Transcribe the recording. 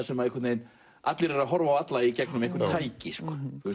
sem allir eru að horfa á alla í gegnum einhver tæki